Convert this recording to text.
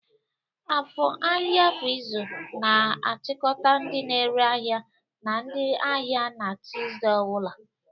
Afo, ahịa kwa izu, na-achịkọta ndị na-ere ahịa na ndị ahịa na Tusude ọ bụla.